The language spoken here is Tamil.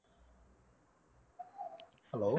hello